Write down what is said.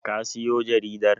ka siyo jaridar?